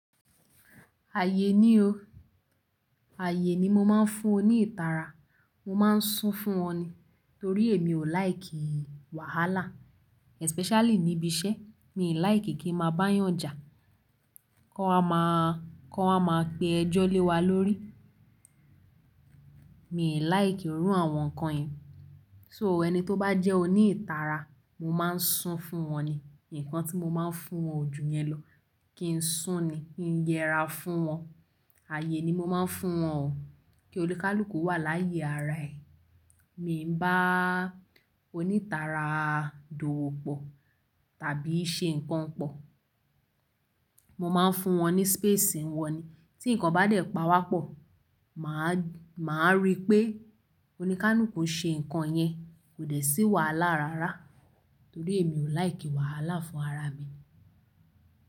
Ayé ní o, ayé ni mo máa ń fún oní ìtara, mo máa ń sún fún wọn ni. Torí èmi ò like wàhálà especially níbi iṣẹ́. Mi like kí n máa bá yànjà ki won wa máa, ki won wa máa pe ẹjọ́ lé wa lórí. Mi ò like irú àwọn nǹkan yẹn. So ẹni tó bá jẹ́ oní ìtara, mo máa ń sún fún wọn ni. Ǹkan tí mo máa ń fún wọn ojú yẹn lọ kí n sún ni, kí n yẹra fún wọn. Ayé ni mo máa ń fún wọn o. Kí olúkalùkù wà láyé ara ẹ. Mi ò bá onítara dowo pọ̀ tàbí ṣe ǹkan pọ̀. Mo máa ń fún wọn ní space wọn ni. Tí ǹkan bá dẹ̀ pa wá pọ̀, mà á, mà á rí pé oníkálúkù ń ṣe ǹkan yẹn kò dẹ̀ sí wàhálà rárá. Torí èmi ò like wàhálà fún ara mi.